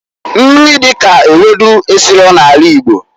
Nri dika ewedu esiro na anị Igbo.